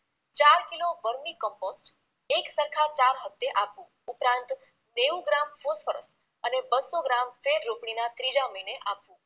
ચાર kilo vermicompost એક સરખા ચાર હપ્તે આપવુ ઉપરાંંત નેવુ ગ્રામ ફોસ્ફરસ અને બસો ગ્રામ ફેરરોપણીના ત્રીજા મહિને આપવુ